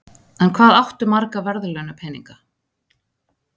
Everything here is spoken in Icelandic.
En hvað áttu marga verðlaunapeninga?